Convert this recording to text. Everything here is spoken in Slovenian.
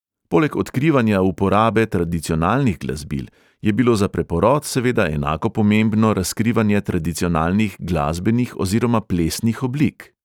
Poleg odkrivanja uporabe tradicionalnih glasbil je bilo za preporod seveda enako pomembno razkrivanje tradicionalnih glasbenih oziroma plesnih oblik.